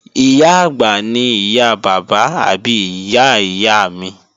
Ìyá-àgbà ni ìyá bàbá àbí ìyá ìyá mi